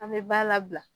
An bɛ ba labila